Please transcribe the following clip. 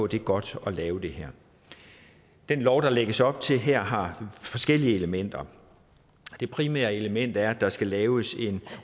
det er godt at lave det her den lov der lægges op til her har forskellige elementer det primære element er at der skal laves en